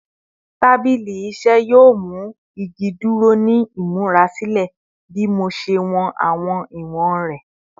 Tabili iṣẹ yoo mu igi duro ni imurasilẹ bi mo ṣe wọn awọn iwọn rẹ